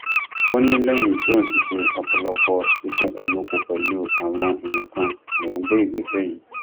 ó ní lẹyìn tóun ti ṣe ọpọlọpọ ìfikùnlukùn pẹlú àwọn èèyàn kan lòún gbé ìgbésẹ yìí